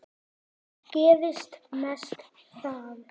Það gerist mest þar.